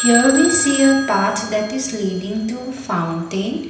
see your part that is leading to the fountain.